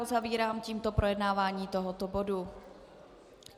Uzavírám tímto projednávání tohoto bodu.